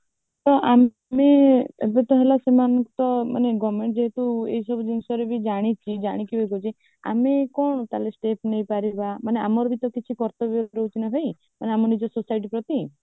ତ ଆମେ ତ ପୁଣି ଏବେ ତ ହେଲା ସେମାନେ ତ ମାନେ government ଯେହେତୁ ଏ ସବୁ ଜିନିଷଗୁଡକୁ ଜାଣିଛି ଜାଣି କରି ଯଦି ଆମେ କଣ ସେଥିରେ step ନେଇପାରିବା ମାନେ ଆମର ବି ତ କିଛି କର୍ତ୍ତବ୍ୟ ରହୁଛି ନା ଭାଇ ମାନେ ଆମେ ନିଜ society ପ୍ରତି